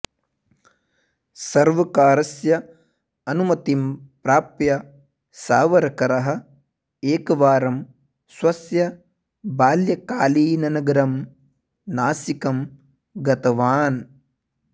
सर्वकारस्य अनुमतिं प्राप्य सावरकरः एकवारं स्वस्य बाल्यकालीननगरं नासिकं गतवान्